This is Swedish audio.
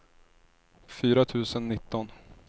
fyra tusen nitton